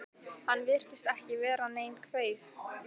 Hann virtist ekki vera nein kveif?